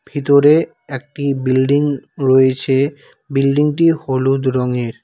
ভিতরে একটি বিল্ডিং রয়েছে বিল্ডিংটি হলুদ রঙের।